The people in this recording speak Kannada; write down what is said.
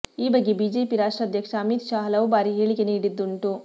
ಈ ಬಗ್ಗೆ ಬಿಜೆಪಿ ರಾಷ್ಟ್ರಾಧ್ಯಕ್ಷ ಅಮಿತ್ ಶಾ ಹಲವು ಬಾರಿ ಹೇಳಿಕೆ ನೀಡಿದ್ದುಂಟು